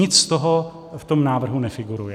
Nic z toho v tom návrhu nefiguruje.